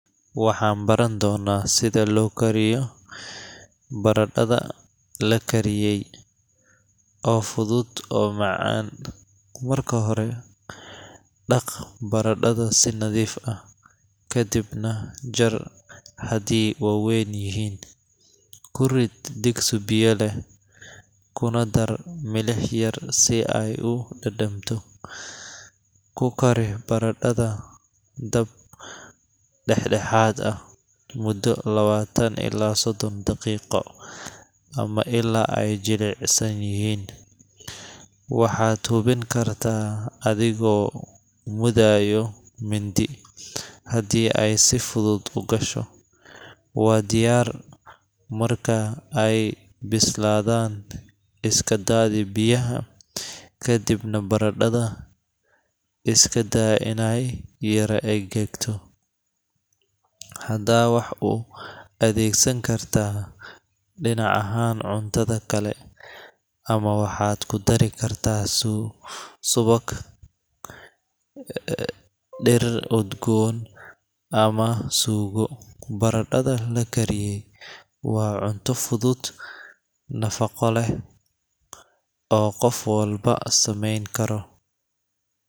Maanta waxaan baran doonaa sida loo kariyo baradhada la kariyey, oo fudud oo macaan. Marka hore, dhaq baradhada si nadiif ah, kadibna jar haddii oo waaweyn yihiin. Ku rid digsi biyo leh, kuna dar milix yar si ay u dhadhamto. Ku kari baradhada dab dhexdhexaad ah muddo lawatan ilaa soddon daqiiqo, ama ilaa ay jilicsan yihiin – waxaad hubin kartaa adigoo mudayo mindi; haddii ay si fudud u gasho, waa diyaar. Marka ay bislaadaan, iska daadi biyaha, kadibna baradhada iska daa inay yara engegto. Hadda waxaad u adeegsan kartaa dhinac ahaan cuntada kale, ama waxaad ku dari kartaa subag, dhir udgoon, ama suugo. Baradhada la kariyey waa cunto fudud, nafaqo leh, oo qof walba samayn karo.